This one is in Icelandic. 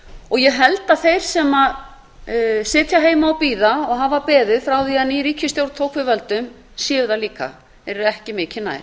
og ég held að þeir sem sitja heima og bíða og hafa beðið frá því að ný ríkisstjórn tók við völdum séu það líka þeir eru ekki mikið nær